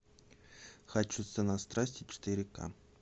хочу цена страсти четыре ка